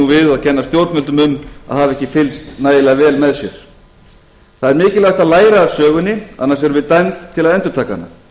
og kenna stjórnvöldum um að hafa ekki fylgst nægilega vel með sér það er mikilvægt að læra af sögunni annars erum við dæmd til að endurtaka hana